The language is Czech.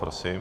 Prosím.